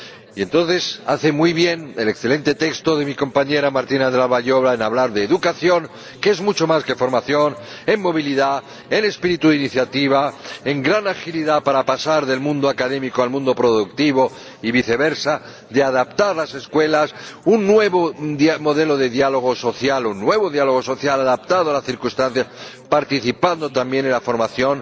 Y entonces hace muy bien el excelente texto de mi compañera Martina Dlabajová en hablar de educación, que es mucho más que formación en movilidad, en espíritu de iniciativa, en gran agilidad para pasar del mundo académico al mundo productivo y viceversa, de adaptar las escuelas, un nuevo modelo de diálogo social o un nuevo diálogo social adaptado a las circunstancias, participando también en la formación,